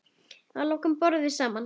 Að lokum borðum við saman.